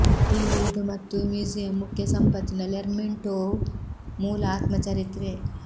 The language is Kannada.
ಇಂದು ಇದು ಮತ್ತು ಮ್ಯೂಸಿಯಂ ಮುಖ್ಯ ಸಂಪತ್ತಿನ ಲೆರ್ಮೆಂಟೋವ್ ಮೂಲ ಆತ್ಮಚರಿತ್ರೆ